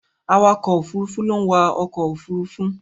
Awakọ̀ Òfurufú ló ń wa ọkọ òfurufú.